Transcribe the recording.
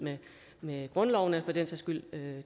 med grundloven eller for den sags skyld